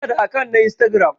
Ina da akant na Instagram.